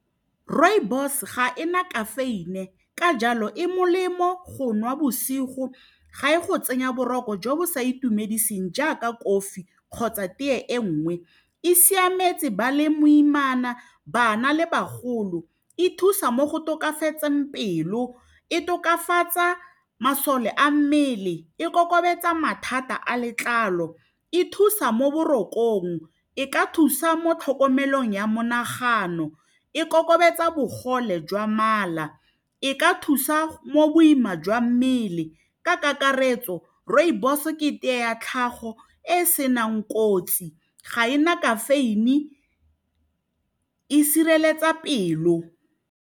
Rooibos ga ena kafeine ka jalo e molemo go nwa bosigo ga e go tsenya boroko jo bo sa itumediseng jaaka kofi kgotsa teye e nngwe e siametse ba le moimana bana le bagolo e thusa mo go tokafatseng pelo e tokafatsa masole a mmele e kokobetsa mathata a letlalo e thusa mo borokong e ka thusa mo tlhokomelong ya monagano e kokobatsa bogole jwa mala e ka thusa mo boima jwa mmele ka kakaretso rooibos ke tee ya tlhago e e senang kotsi ga ena kafeine e sireletsa pelo.